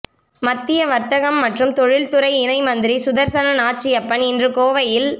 மத்திய வர்த்தகம் மற்றும் தொழில்துறை இணை மந்திரி சுதர்சன நாச்சியப்பன் இன்று கோவையில்